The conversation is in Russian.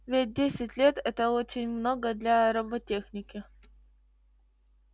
ведь десять лет это очень много для роботехники